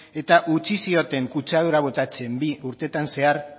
eta utzi zioten kutsadura botatzen bi urtetan zehar